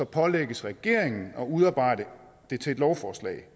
pålægges regeringen at udarbejde et lovforslag